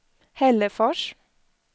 Hällefors